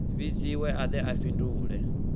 vhidziwe a de a fhindule